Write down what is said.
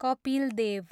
Kapil Dev